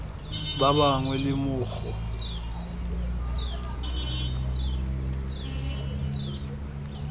ba bangwe le mo go